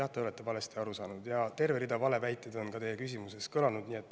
Jah, te olete valesti aru saanud ja rida valeväiteid on ka teie küsimuses kõlanud.